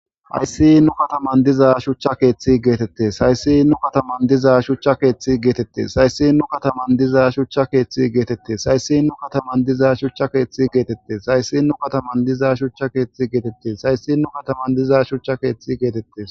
Hayssi nu kataman diza shuchcha keeththi geetette sayssi nu kataman diza shuchcha keeththi geetette sayssi nu kataman diza shuchcha keeththi geetette sayssi nu kataman diza shuchcha keeththi geetette sayssi nu kataman diza shuchcha keeththi geetette sayssi nu kataman diza shuchcha keeththi geetette.